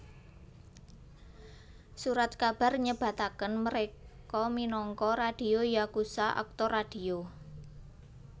Surat kabar nyebataken mereka minangka radio yakusha aktor radio